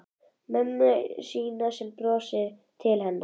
Mömmu sína sem brosir til hennar.